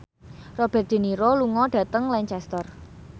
Robert de Niro lunga dhateng Lancaster